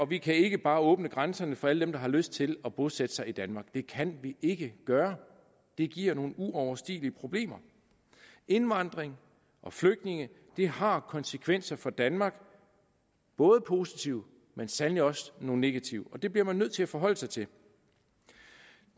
vi kan ikke bare åbne grænserne for alle dem der har lyst til at bosætte sig i danmark det kan vi ikke gøre det giver nogle uoverstigelige problemer indvandringen og flygtningene har nogle konsekvenser for danmark både positive men sandelig også negative og det bliver man nødt til at forholde sig til